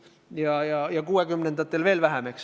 Ja 1960-ndatel veel vähem.